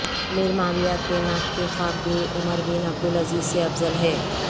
امیر معاویہ کے ناک کی خاک بھی عمر بن عبدالعزیز سے افضل ہے